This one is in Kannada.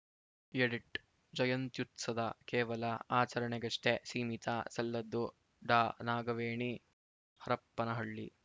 ಎಡಿಟ್‌ ಜಯಂತ್ಯುತ್ಸದ ಕೇವಲ ಆಚರಣೆಗಷ್ಟೇ ಸೀಮಿತ ಸಲ್ಲದು ಡಾನಾಗವೇಣಿ ಹರಪನಹಳ್ಳಿ